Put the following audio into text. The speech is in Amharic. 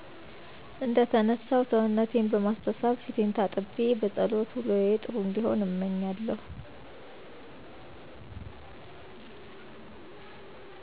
እንደተነሳሁ ሰውነቴን በማሳሳብ ፊቴን ታጥቤ በፀሎት ውሎየ ጥሩ እንዲሆን እምኛለሁ